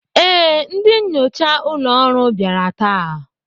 Ee, ndị nnyocha ụlọ ọrụ bịara taa.